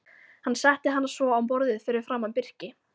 Hann setti hana svo á borðið fyrir framan Birki.